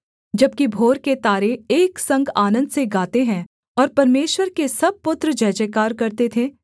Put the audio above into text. जबकि भोर के तारे एक संग आनन्द से गाते थे और परमेश्वर के सब पुत्र जयजयकार करते थे